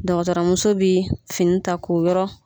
Dɔgɔtɔrɔ muso bɛ fini ta k'o yɔrɔ